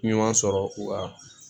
Ɲuman sɔrɔ u ka